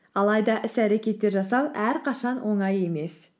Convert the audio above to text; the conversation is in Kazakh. алайда іс әрекетті жасау әрқашан оңай емес